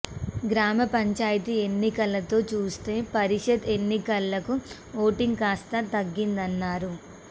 గ్రామ పంచాయతీ ఎన్నికలతో చూస్తే పరిషత్ ఎన్నికలకు ఓటింగ్ కాస్త తగ్గిందన్నారు